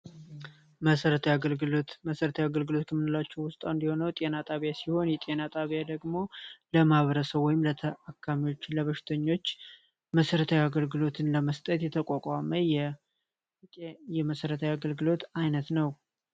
መሰረታዊ አገልግሎት መሰረታዊ አገልግሎት ከምንላቸው ውስጥ አንዱ የሆነው ጤና ጣቢያ ሲሆን ጤና ጣቢያ ደግሞ የህዝብን ታካሚዎች ፣ለበሽተኞች መሰረታዊ አገልግሎት ለመስጠት የተቋቋመ የመሰረታዊ አገልግሎት አይነት ነው።